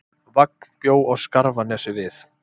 Vagn bjó á Skarfanesi við